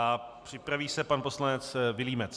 A připraví se pan poslanec Vilímec.